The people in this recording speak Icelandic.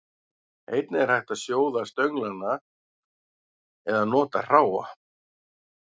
Einnig er hægt að sjóða stönglana eða nota hráa.